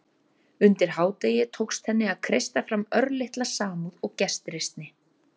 Undir hádegið tókst henni að kreista fram örlitla samúð og gestrisni.